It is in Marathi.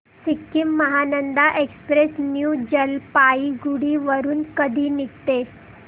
सिक्किम महानंदा एक्सप्रेस न्यू जलपाईगुडी वरून कधी निघते